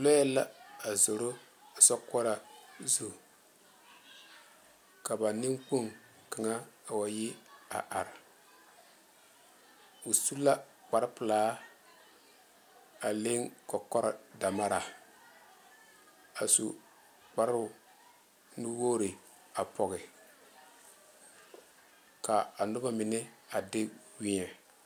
Lɔɛ la a zoro sokoɔraa zu ka ba nenkpoŋ kaŋa a wa yi a are o su la kpare pelaa a leŋ kɔkɔre damara a su kparo nu wogre a pɔge ka a noba mine de weɛ.